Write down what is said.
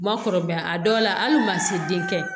Ma kɔrɔ a dɔw la ali mansin den kɛ